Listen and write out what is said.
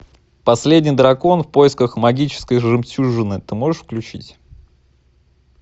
последний дракон в поисках магической жемчужины ты можешь включить